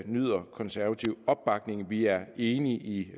nyder konservativ opbakning vi er enige i